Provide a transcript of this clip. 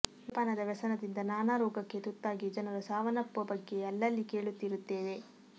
ಮದ್ಯಪಾನದ ವ್ಯಸನದಿಂದ ನಾನಾ ರೋಗಕ್ಕೆ ತುತ್ತಾಗಿ ಜನರು ಸಾವನ್ನಪ್ಪುವ ಬಗ್ಗೆ ಅಲ್ಲಲ್ಲಿ ಕೇಳುತ್ತಿರುತ್ತೇವೆ